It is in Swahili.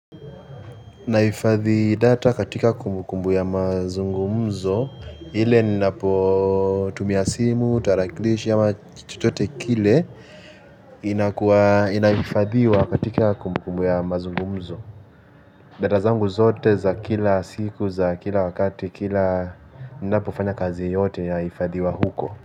Nahifadhi data katika kumbukumbu ya mazungumzo, ile ninapotumia simu, tarakilishi ama chochote kile. Inahifadhiwa katika kumbukumbu ya mazungumzo. Data zangu zote za kila siku, za kila wakati, kila ninapofanya kazi yoyote yahifadhiwa huko.